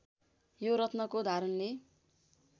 यो रत्नको धारणले